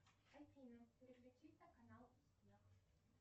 афина переключить на канал